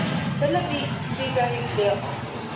But let me be very clear on this.